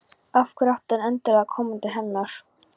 Af hverju átti hann endilega að koma til hennar?